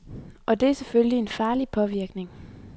Og det er selvfølgelig en farlig påvirkning.